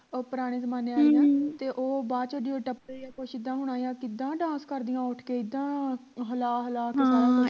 ਉਹ ਪੁਰਾਣੇ ਜ਼ਮਾਨਿਆਂ ਦੀਆਂ ਤੇ ਬਾਅਦ ਚ ਟੱਪੇ ਜਾ ਕੁਝ ਇੱਦਾਂ ਹੋਣਾ ਕਿਦਾਂ ਕਰਦਿਆਂ ਉੱਠ ਕੇ ਇੱਦਾਂ ਹਲਾ ਹਲਾ ਕੇ ਸਾਰਾ ਕੁਜ